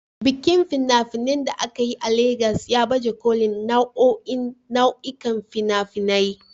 Bikin fina-finai da aka yi a Legas ya baje kolin nau'o'in nau'ikan fina-finai